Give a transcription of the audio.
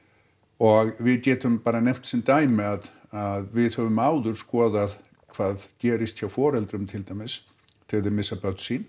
og við getum bara nefnt sem dæmi að að við höfum áður skoðað hvað gerist hjá foreldrum til dæmis þegar þeir missa börn sín